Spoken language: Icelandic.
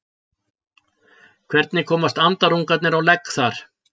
hvernig komast andarungarnir á legg þar